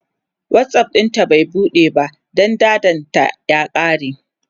WhatsApp ɗinta bai buɗe ba Dan datan ta ya kare